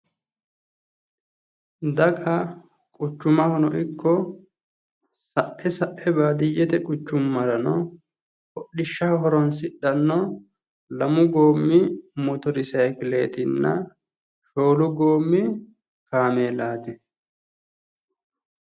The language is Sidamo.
daga quchumahono ikko sae sae baadiyyeteno quchummarano hodhishshaho horonsidhsnno lamu goommi moter sayiikileetinna shoolu goommi kaameelaati.